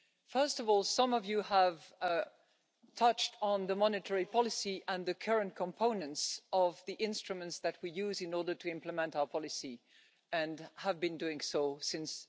First of all, some of you have touched on the monetary policy and the current components of the instruments that we use in order to implement our policy and have been doing so since